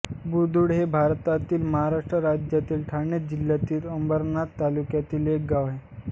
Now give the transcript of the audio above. बुरदुळ हे भारतातील महाराष्ट्र राज्यातील ठाणे जिल्ह्यातील अंबरनाथ तालुक्यातील एक गाव आहे